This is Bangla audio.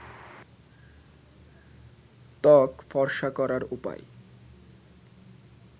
ত্বক ফর্সা করার উপায়